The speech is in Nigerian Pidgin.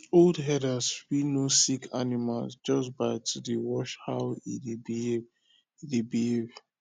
old herders fit know sick animal just by to dey watch how e dey behave e dey behave